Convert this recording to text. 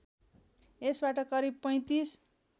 यसबाट करिब ३५